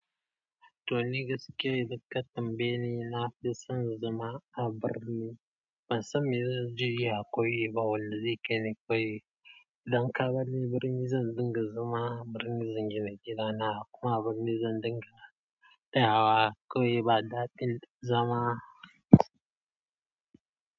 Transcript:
Toni gaskiya idan ka tambayeni na fison zama a birni, bansan me zanje a ƙauye ba, wanda zai kaini ƙauye. Idan ka bar birni zan dinga zama a birni, zan gina gida na kuma zan dinga tayawa ƙauye bada tin zama.